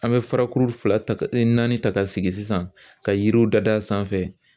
An bɛ fara kuru fila ta naani ta ka sigi sisan ka yiriw dadiya a sanfɛ.